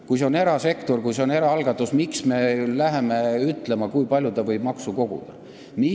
Kui see on erasektor, kui see on eraalgatus, miks me läheme ütlema, kui palju ta võib maksu koguda?